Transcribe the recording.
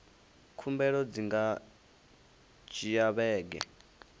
khumbelo dzi nga dzhia vhege